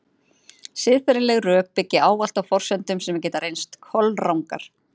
Siðferðileg rök byggja ávallt á forsendum sem geta reynst kolrangar.